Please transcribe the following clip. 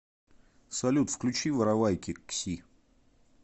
салют включи воровайки кси